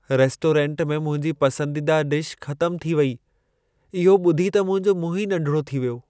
Restaurant में मुंहिंजी पसंदीदा डिश ख़तमु थी वेई। इहो ॿुधी त मुंहिंजो मुंहं ई नंढिड़ो थी वियो।